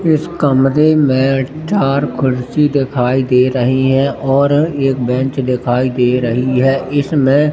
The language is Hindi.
इस कमरे में चार कुर्सी दिखाई दे रही हैं और एक बेंच दिखाई दे रही है इसमें--